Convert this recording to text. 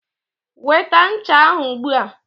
Weta ncha ahụ ugbua.